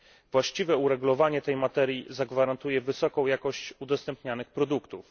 Właściwe uregulowanie tej materii zagwarantuje wysoką jakość udostępnianych produktów.